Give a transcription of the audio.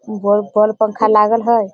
Wall पर पंखा लागल है।